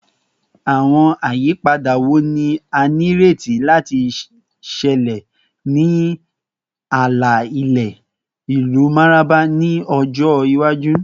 Awọn ayipada wo ni a nireti lati ṣẹlẹ ni ala-ilẹ ilu Mararaba ni ọjọ iwaju?